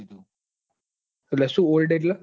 એટલે સુ ઓલ્ડ એટલે